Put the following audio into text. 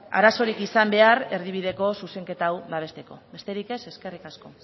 arazorik izan behar erdibideko zuzenketa hau babesteko besterik ez eskerrik asko